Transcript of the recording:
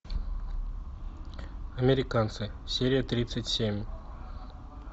американцы серия тридцать семь